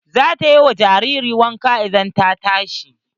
Zata yi wa jaririn wanka idan ta tashi.